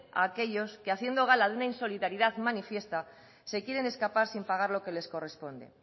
a aquellos que haciendo gala a una insolidaridad manifiesta se quieren escapar sin pagar lo que les corresponde